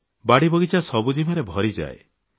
ବାଡ଼ିବଗିଚା ସବୁଜିମାରେ ଭରିଯାଏ